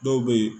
Dɔw be yen